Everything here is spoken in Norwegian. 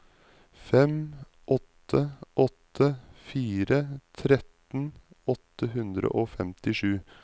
fem åtte åtte fire tretten åtte hundre og femtisju